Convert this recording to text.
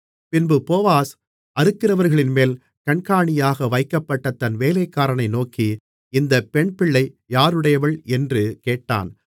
பின்பு போவாஸ் அறுக்கிறவர்களின்மேல் கண்காணியாக வைக்கப்பட்ட தன் வேலைக்காரனை நோக்கி இந்தப் பெண்பிள்ளை யாருடையவள் என்று கேட்டான்